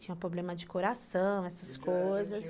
Tinha problema de coração, essas coisas, já, já tinha